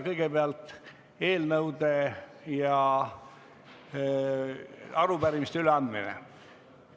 Kõigepealt eelnõude ja arupärimiste üleandmine.